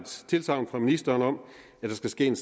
tilsagn fra ministeren om at der skal ske en